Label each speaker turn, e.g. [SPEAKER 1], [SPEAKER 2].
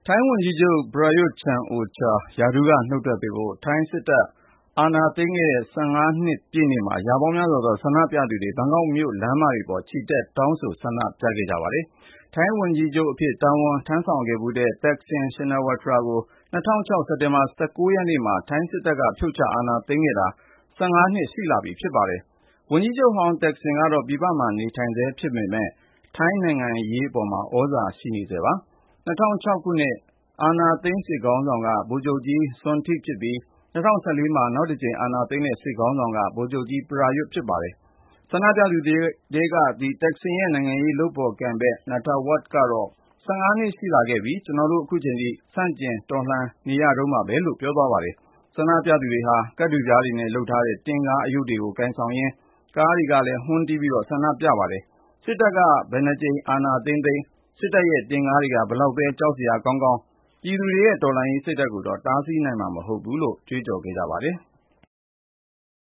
[SPEAKER 1] ိုင်းဝန်ကြီးချုပ် Prayut Chan-o-cha ရာထူးက နုတ်ထွက်ပေးဖို့ ထိုင်းစစ်တပ် အာဏာသိမ်းခဲ့တဲ့ ၁၅ နှစ်ပြည့်နေ့မှာ ရာပေါင်းများစွာသော ဆန္ဒပြသူတွေက ဘန်ကောက်မြို့ လမ်းမတွေပေါ် ချီတက် တောင်းဆိုခဲ့ကြပါတယ်။ ထိုင်းဝန်ကြီးချုပ်အဖြစ် တာဝန်ထမ်းဆောင်ခဲ့ဖူးတဲ့ Thaksin Shinawatra ကို ၂၀၀၆ ခု စက်တင်ဘာလ ၁၉ ရက်နေ့မှာ ထိုင်းစစ်တပ်က ဖြုတ်ချ အာဏာသိမ်းခဲ့တာ ၁၅ နှစ် ရှိလာပြီဖြစ်ပါတယ်။ ဝန်ကြီးချုပ်ဟောင်း Thaksin ကတော့ ပြည်ပမှာ နေထိုင်ဆဲဖြစ်ပေမယ့် ထိုင်းနိုင်ငံရေးမှာ သြဇာရှိနေဆဲပါ။ ၂၀၀၆ အာဏာသိမ်း စစ်ခေါင်းဆောင်က ဗိုလ်ချုပ်ကြီး Sonthi Boonyaratglin ဖြစ်ပြီး ၂၀၁၄ မှာ နောက်တကြိမ် အာဏာသိမ်းတဲ့ စစ်ခေါင်းဆောင်က ဗိုလ်ချုပ်ကြီး Prayut Chan-o-cha ဖြစ်လာပါတယ်။ ဆန္ဒပြသူတွေထဲက Thaksin ရဲ့ နိုင်ငံရေး လုပ်ဖော်ကိုင်ဘက်ဖြစ်သူ Nattawut Saikuar ကတော့ "၁၅ နှစ်ရှိလာခဲ့ပြီ၊ ကျနော်တို့ ခုချိန်ထိ ဆန့်ကျင်တွန်းလှန် နေရတုန်းပါပဲ" လို့ ပြောပါတယ်။ ဆန္ဒပြသူတွေဟာ ကတ်ထူပြားနဲ့ လုပ်ထားတဲ့ တင့်ကားအရုပ်တွေကို ကိုင်ဆောင်ရင်း ကားတွေကလည်း ဟွန်းတွေတီးပြီး ဆန္ဒပြခဲ့ကြပါတယ်။ စစ်တပ်က ဘယ်နှစ်ကြိမ် အာဏာသိမ်းသိမ်း စစ်တပ်ရဲ့ တင့်ကားတွေ ဘယ်လောက်ပဲ ကြောက်စရာ ကောင်းကောင်း ပြည်သူတွေရဲ့ တော်လှန်ရေးစိတ်ဓာတ်ကိုတော့ တားဆီးနိုင်မှာ မဟုတ်ဘူးလို့ ကြွေးကြော်ခဲ့ကြပါတယ်။